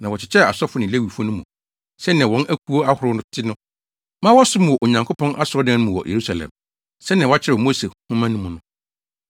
Na wɔkyekyɛɛ asɔfo ne Lewifo no mu, sɛnea wɔn akuw ahorow te no ma wɔsom wɔ Onyankopɔn asɔredan no mu wɔ Yerusalem, sɛnea wɔakyerɛw wɔ Mose Nhoma mu no.